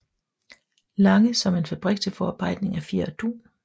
Lange som en fabrik til forarbejdning af fjer og dun